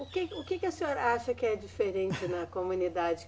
O que, o que que a senhora acha que é diferente na comunidade?